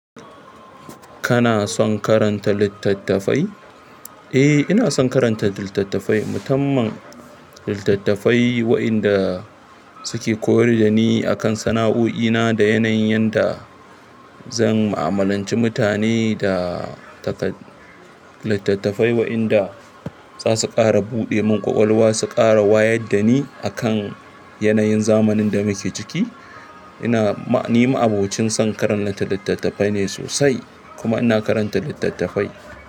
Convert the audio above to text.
Kana son karanta littattafai? Eh, ina son karanta littattafai. Tamman littattafai waƴanda suke koyar da ni akan sana'o'ina da yanayin yanda zan ma'amalanci mutane da littattafai waƴanda zasu ƙara buɗe mun ƙwaƙwalwa, su ƙara waya da ni akan yanayin zamanin da muke ciki. Ina, ni ma'abocin son karanta littattafai ne sosai kuma ina karanta littattafai.